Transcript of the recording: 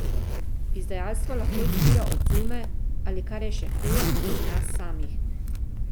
Izdajstvo lahko izvira od zunaj ali, kar je še huje, iz nas samih.